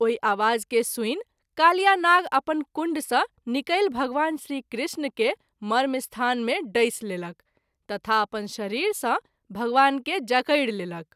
ओहि आवाज के सुनि कालियानाग अपन कुण्ड सँ निकलि भगवान श्री कृष्ण के मर्मस्थान मे डैस लेलक तथा अपन शरीर सँ भगवान के जकरि लेलक।